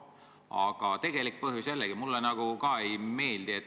Aga tegelik põhjus jällegi mulle nagu ka ei meeldi.